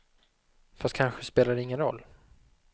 Fast kanske spelar det ingen roll.